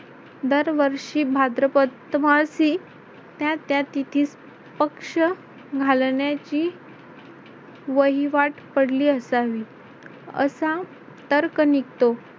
दरवर्षी भाद्रपद मासी त्या त्या तिथीस पक्ष घालण्याची वहिवाट पडली असावी. असा तर्क निघतो.